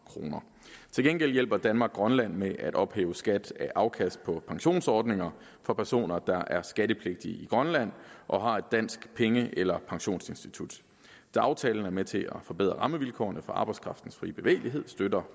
kroner til gengæld hjælper danmark grønland med at opkræve skat af afkast på pensionsordninger for personer der er skattepligtige i grønland og har et dansk penge eller pensionsinstitut da aftalen er med til at forbedre rammevilkårene for arbejdskraftens frie bevægelighed støtter